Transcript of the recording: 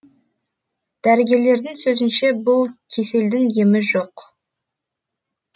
дәрігерлердің сөзінше бұл кеселдің емі жоқ